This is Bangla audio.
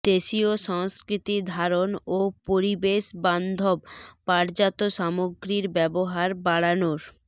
দেশীয় সংস্কৃতি ধারণ ও পরিবেশবান্ধব পাটজাত সামগ্রীর ব্যবহার বাড়ানোর